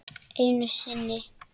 Enn einu sinni.